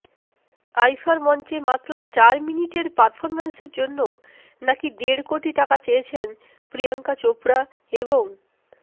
আইফার মঞ্চে মাত্র চার মিনিটের পারফরম্যান্সের জন্য নাকি দেড় কোটি টাকা চেয়েছেন প্রিয়ঙ্কা চোপড়া এবং